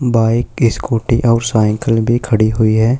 Bike scooty और cycle भी खड़ी हुई है।